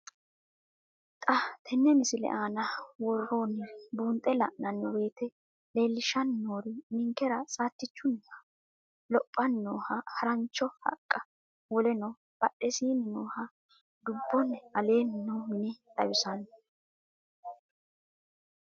Xa tenne missile aana worroonniri buunxe la'nanni woyiite leellishshanni noori ninkera saattichunniha lophanni nooha harancho haqqa, woleno badhesiinni nooha dubbonna aleenni noo mine xawissanno.